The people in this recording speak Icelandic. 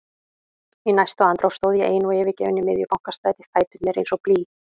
Í næstu andrá stóð ég ein og yfirgefin í miðju Bankastræti, fæturnir eins og blý.